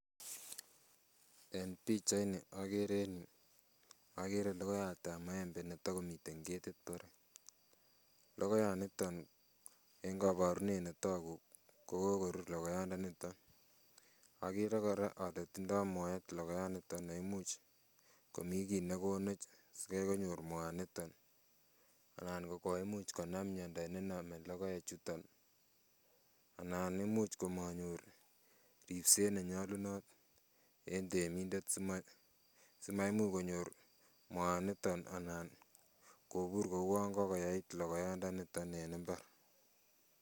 En pichait ni okere en yuu okere logoiyatab maembe netogomii ketit barak. Logoiyat niton en koborunen netogu kokokorur logoiyatndaniton okere kora ole tindo moet logoyaniton neimuch komii kit nekonoch sikai konyor moaniton anan ko koimuch konam miondo nenome logoechuton anan imuch komonyor ribset nenyolunot en temindet simaimuch konyor moaniton anan kobur kouon kokoyait logoyatndaniton en mbar